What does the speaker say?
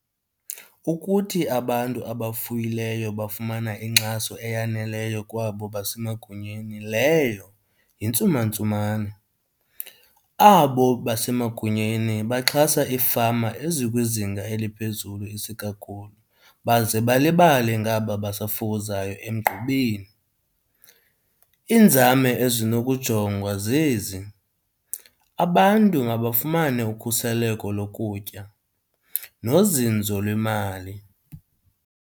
Ukuthi abantu abafuyileyo bafumana inkxaso eyaneleyo kwabo basemagunyeni leyo yintsumantsumane. Abo basemagunyeni baxhasa ifama ezikwizinga eliphezulu isikakhulu baze balibale ngaba basafukuzayo emgqubeni. Iinzame ezinokujongwa zezi, abantu mabafumane ukhuseleko lokutya nozinzo lwemali.